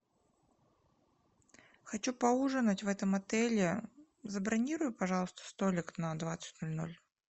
хочу поужинать в этом отеле забронируй пожалуйста столик на двадцать ноль ноль